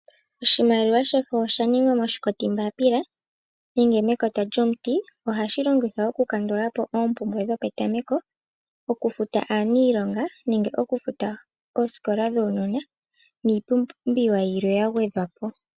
Oshimaliwa shefo oshaningwa moshikotimbaapila nenge mekota lyomuti. Ohashi longithwa okukandulapo oompumbwe dhopetameko, okufuta aaniilonga , nenge okufuta oosikola dhuunona niipumbiwa yilwe yagwedhwapo .